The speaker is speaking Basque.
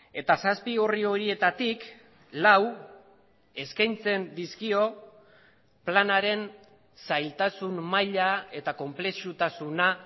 eta zazpi orri horietatik lau eskaintzen dizkio planaren zailtasun maila eta konplexutasuna